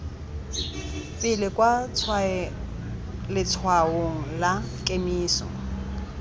pele kwa letshwaong la kemiso